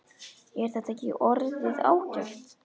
Er þetta ekki orðið ágætt?